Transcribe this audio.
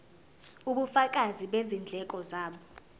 ubufakazi bezindleko zabo